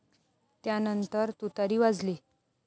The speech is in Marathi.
त्यानंतर तुतारी वाजली.